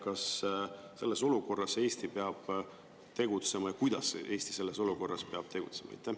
Kas selles olukorras peab Eesti tegutsema ja kuidas Eesti selles olukorras peab tegutsema?